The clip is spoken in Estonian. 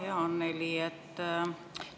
Hea Annely!